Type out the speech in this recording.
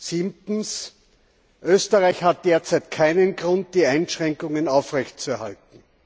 Siebtens Österreich hat derzeit keinen Grund, die Einschränkungen aufrechtzuerhalten.